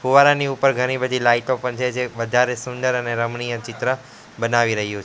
ફુવારાની ઉપર ઘણી બધી લાઈટો પણ છે જે વધારે સુંદર અને રમણીય ચિત્ર બનાવી રહ્યું--